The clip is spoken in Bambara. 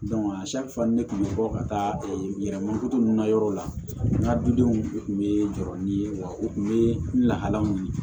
fana ne tun bɛ bɔ ka taa yɛlɛma ninnu na yɔrɔ la n ka dudenw u tun bɛ jɔrɔ ni ye wa u kun bɛ lahalaw ye